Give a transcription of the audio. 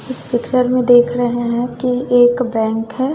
इस पिक्चर में देख रहे हैं कि एक बैंक है।